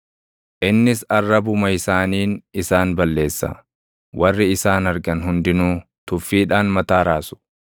Innis arrabuma isaaniin isaan balleessa; warri isaan argan hundinuu tuffiidhaan mataa raasu.